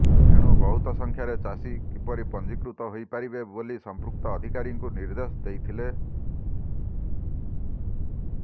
ଏଣୁ ବହୁତ ସଂଖ୍ୟାରେ ଚାଷୀ କିପରି ପଞ୍ଜିକୃତ ହୋଇପାରିବେ ବୋଲି ସଂପୃକ୍ତ ଅଧିକାରୀଙ୍କୁ ନିଦେ୍ର୍ଦଶ ଦେଇଥିଲେ